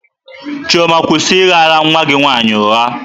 Chioma, kwụsị ị ghara nwa gị nwaanyị ụgha!